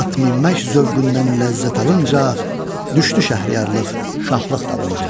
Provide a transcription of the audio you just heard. At minmək zövqündən ləzzət alınca, düşdü şəhriyarlıq şahlıq dalınca.